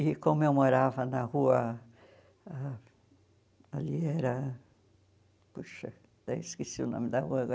E como eu morava na rua, a ali era, puxa, até esqueci o nome da rua agora.